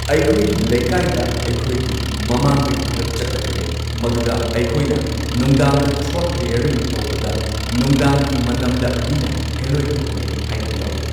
ꯑꯩꯈꯣꯏꯒꯤ ꯂꯩꯀꯥꯏꯗ ꯑꯩꯈꯣꯏꯒꯤ ꯃꯃꯥꯡꯗꯒꯤ ꯈꯔ ꯆꯠꯂꯒ ꯂꯩ ꯃꯗꯨꯗ ꯑꯩꯈꯣꯏꯅ ꯅꯨꯡꯗꯥꯡꯗ ꯊ꯭ꯔꯣꯗ ꯀ꯭ꯂꯤꯌꯔꯤꯡ ꯇꯧꯕꯗ ꯅꯨꯡꯗꯥꯡꯒꯤ ꯃꯇꯝꯗ ꯃꯤꯅ ꯍꯦꯜꯂꯣꯏ ꯊꯣꯛꯅꯩ ꯍꯥꯏꯅꯕ ꯌꯥꯎꯏ꯫